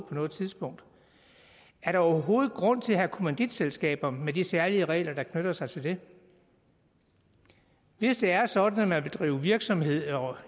på noget tidspunkt er der overhovedet grund til at have kommanditselskaber med de særlige regler der knytter sig til det hvis det er sådan at man vil drive virksomhed og